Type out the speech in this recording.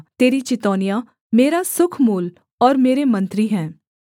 तेरी चितौनियाँ मेरा सुखमूल और मेरे मंत्री हैं